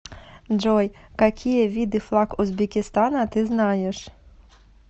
джой какие виды флаг узбекистана ты знаешь